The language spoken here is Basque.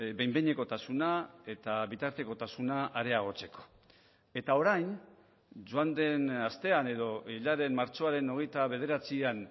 behin behinekotasuna eta bitartekotasuna areagotzeko eta orain joan den astean edo hilaren martxoaren hogeita bederatzian